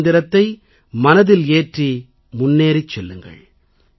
இந்த மந்திரத்தை மனதில் ஏற்றி முன்னேறிச் செல்லுங்கள்